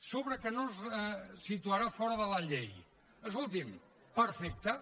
sobre el fet que no es situarà fora de la llei escolti’m perfecte